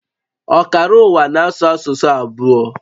Ọkara ụwa na-asụ asụsụ abụọ